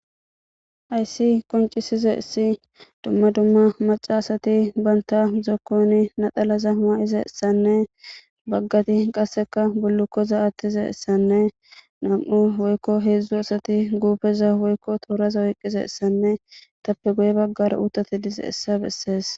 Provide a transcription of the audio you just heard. Hayssi qoncisishes dizay dumma dumma macashatti bantta mayzayssanne baggati qasekka bullukkoza mayizaysanne nam'u woykko hedzdzu asati guppeza woykko tooraza oyqizaysan eettappe guye baggara uuththatti dizayssa besses